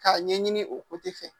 K'a ɲɛɲini o fɛ